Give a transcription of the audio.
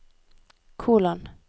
kolon